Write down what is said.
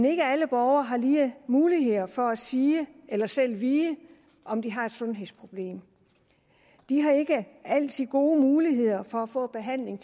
ikke alle borgere har lige muligheder for at sige eller selv vide om de har et sundhedsproblem de har ikke altid gode muligheder for at få behandling